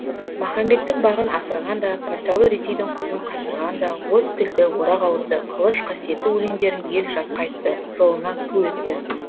махамбеттің бағын асырған да патшалы ресейдің құтын қашырған да от тілді орақ ауызды қылыш қасиетті өлеңдерін ел жатқа айтты жолына ту етті